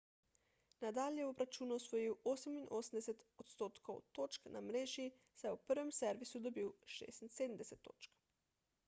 nadal je v obračunu osvojil 88 % točk na mreži saj je v prvem servisu dobil 76 točk